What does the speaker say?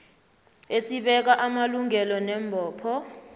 esibeka amalungelo neembopho